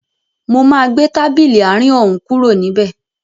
Mo máa gbé tábìlì àárín òún kúrò níbẹ̀